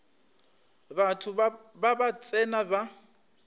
batho ba ba tsena ba